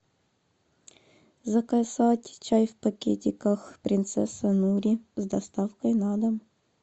заказать чай в пакетиках принцесса нури с доставкой на дом